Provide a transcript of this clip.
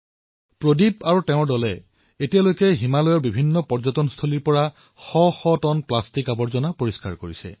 প্ৰদীপজীয়ে এতিয়ালৈ হিমালয়ৰ বিভিন্ন পৰ্যটন এলেকাৰ পৰা বহু টন প্লাষ্টিক পৰিষ্কাৰ কৰিছে